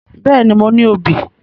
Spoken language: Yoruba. Bẹ́ẹ̀ni, mo ní obì